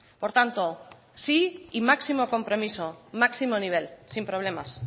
por tanto sí y máximo compromiso máximo nivel sin problemas